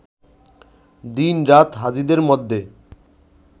দিন-রাত হাজীদের মধ্যে